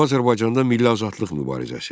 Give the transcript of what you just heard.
Cənubi Azərbaycanda milli azadlıq mübarizəsi.